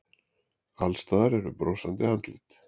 Alls staðar eru brosandi andlit.